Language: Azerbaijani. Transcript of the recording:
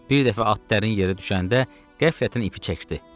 Bir dəfə at dərin yerə düşəndə qəflətən ipi çəkdi.